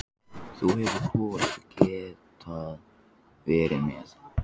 Þá hefði Kolur getað verið með.